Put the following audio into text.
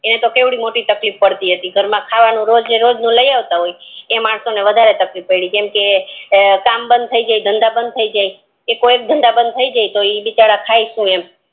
એને તો કેટલી મોટી તકલીફ પડતી હોય એને તો ખાવાનું ઘરમાં રોજે રોજ નું લઈ આવતા હોય ઈ માણસો ને વધારે તકલીફ પડી કેમકે કામ બંધ થી જાય ધંધા બંધ થી જાય ઈ ધંધા બંધ થી જાય તો ઈ બિચારા ખાય સુ